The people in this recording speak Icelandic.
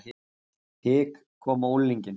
Hik kom á unglinginn.